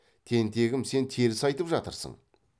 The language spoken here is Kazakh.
тентегім сен теріс айтып жатырсың